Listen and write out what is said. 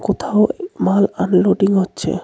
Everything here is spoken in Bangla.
কোথাও এই মাল আনলোডিং হচ্ছে .